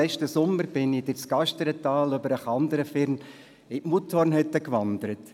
Letzten Sommer bin ich durch das Gasterntal über den Kanderfirn zur Mutthornhütte gewandert.